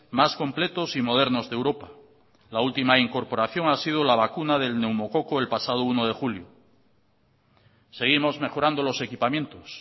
más completos y modernos de europa la última incorporación ha sido la vacuna del neumococo el pasado uno de julio seguimos mejorando los equipamientos